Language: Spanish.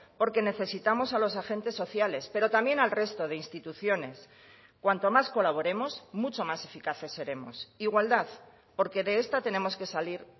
porque necesitamos a los agentes sociales pero también al resto de instituciones cuanto más colaboremos mucho más eficaces seremos igualdad porque de esta tenemos que salir